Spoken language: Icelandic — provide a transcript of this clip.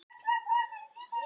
Sinna eftirmálum eldgossins